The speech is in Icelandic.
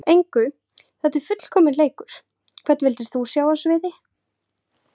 engu þetta er fullkominn leikur Hvern vildir þú sjá á sviði?